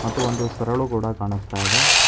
ಮತ್ತು ಒಂದು ಸರಲು ಕೂಡ ಕಾಣಿಸ್ತಾ ಇದೆ.